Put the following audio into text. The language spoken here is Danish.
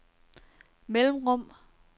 mellemrum